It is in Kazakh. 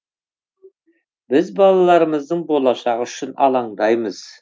біз балаларымыздың болашағы үшін алаңдаймыз